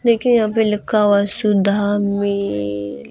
देखिए यहां पे लिखा हुआ है सुधा मिल्क --